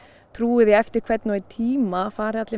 trúi því að eftir hvern og einn tíma fari allir